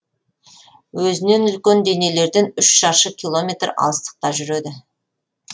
өзінен үлкен денелерден үш шаршы километр алыстықта жүреді